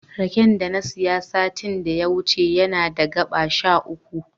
Raken da na siya satin da ya wuce yana da gaɓa sha uku.